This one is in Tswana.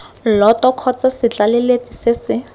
lloto kgotsa setlaleletsi se se